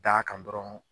D'a kan dɔrɔn